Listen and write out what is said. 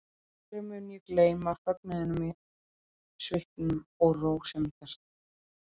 Aldrei mun ég gleyma fögnuðinum í svipnum og rósemi hjartans.